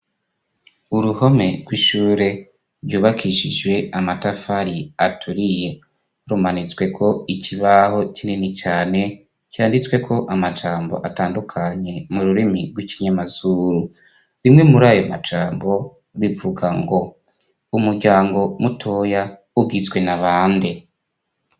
uruhome rw'ishure ryubakishijwe amatafari aturiye. rumanitsweko ikibaho kinini cane, canditsweko amajambo atandukanye mu rurimi rw'ikinyamazuru. bimwe muri ayo majambo bivuga ngo "umuryango mutoya ugizwe na bande?".